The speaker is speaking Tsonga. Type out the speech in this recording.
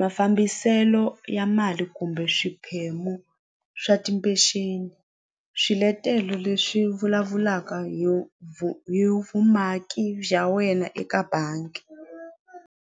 mafambiselo ya mali kumbe swiphemu swa timpexeni swiletelo leswi vulavulaka hi hi vumaki bya wena eka bangi.